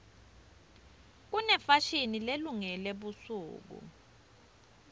kunefashini lelungele busuku